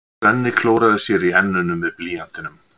Svenni klórar sér í enninu með blýantinum.